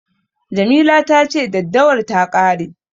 Jamila ta ce daddawar ta ƙare.